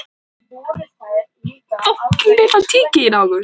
Alltaf! hrópaði hann og dansaði í kringum hana.